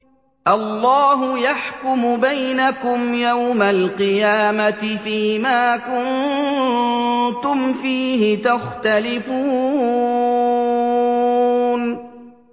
اللَّهُ يَحْكُمُ بَيْنَكُمْ يَوْمَ الْقِيَامَةِ فِيمَا كُنتُمْ فِيهِ تَخْتَلِفُونَ